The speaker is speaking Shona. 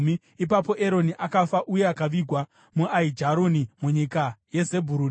Ipapo Eroni akafa, uye akavigwa muAijaroni munyika yaZebhuruni.